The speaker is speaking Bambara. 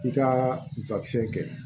I ka kɛ